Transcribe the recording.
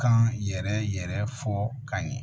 Kan yɛrɛ fɔ ka ɲɛ